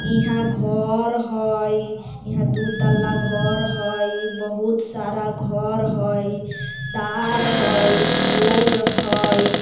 इह घर हई इहा दु तल्ला घर हई बहुत सारा घर होई तार होई पोल होई --